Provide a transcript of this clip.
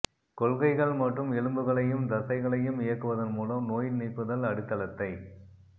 கொள்கைகள் மற்றும் எலும்புகளையும் தசைகளையும் இயக்குவதன் மூலம் நோய் நீக்குதல் அடித்தளத்தை